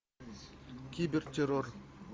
кибер террор